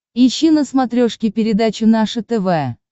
ищи на смотрешке передачу наше тв